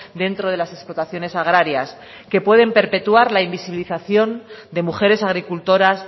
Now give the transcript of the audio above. dentro de las explotaciones agrarias que pueden perpetuar la invisibilización de mujeres agricultoras